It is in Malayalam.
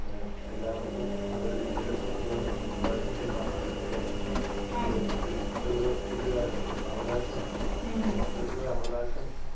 ഏഹ് എല്ലാവർക്കും നല്ലൊരു വിദ്യാഭാസംനൽകുകാ എന്നതാണ് ഇന്ത്യൻഭരണകടനേലെ ഒരു വല്ലി ഒരു വല്ല്യൊരു ഏഹ് അവകാശമാണ്. അപ്പം അത്തരത്തിലുള്ള അവകാശം